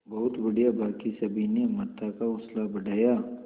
बहुत बढ़िया बाकी सभी ने अमृता का हौसला बढ़ाया